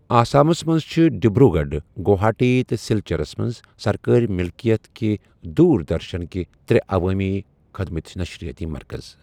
آسامس منٛز چھِ ڈِبروٗ گَڑھ، گوہاٹی تہٕ سِلچَرس منٛز سركٲرۍ مِلکِیت کہِ دوٗر درشَنٕکہِ ترٛےٚ عَوامی خٕدمَتٕۍ نشرِیٲتی مركز۔